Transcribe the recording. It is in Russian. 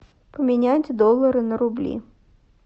поменять доллары на рубли